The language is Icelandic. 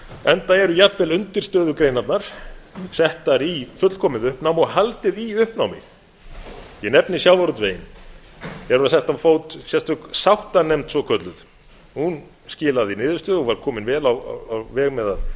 enda eru jafnvel undirstöðugreinarnar settar í fullkomið uppnám og haldið í uppnámi ég nefni sjávarútveginn hér var sett á fót sérstök sáttanefnd svokölluð hún skilaði niðurstöðu og var komin vel á veg með að